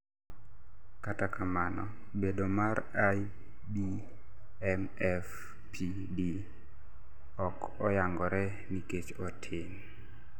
kata kamano bedo mar IBMFPD ok oyangore nikech otin